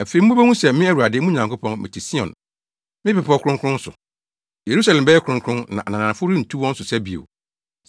“Afei mubehu sɛ, me Awurade, mo Nyankopɔn, mete Sion, me bepɔw kronkron so. Yerusalem bɛyɛ kronkron; na ananafo rentu wɔn so sa bio.